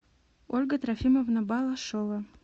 ольга трофимовна балашова